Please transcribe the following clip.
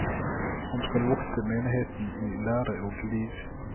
Han skal vokte menigheten i lære og liv.